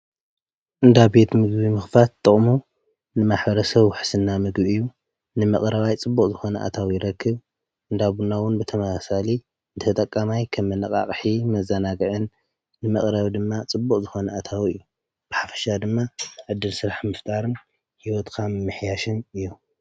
እንዳ ቤት ምግዊ ምኽፋት ጥቕሙ ንማሕረሰ ውሕስና ምግቢ እዩ፡፡ ንመቕረባይ ፅቡቕ ዝኾነ ኣታዊ ይረክብ፡፡ እንዳቡና’ውን ብተመሳሳሊ ንተጠቃማይ ከም መነቓቕሒ መዛናግዕን ንመቕረቢ ድማ ፅቡቕ ዝኾነ ኣታዊ እዩ፡፡ ብሓፍሻ ድማ ዕድል ስራሕ ምፍጣርን ሕይወትካ ምምሕያሽን እዮም፡፡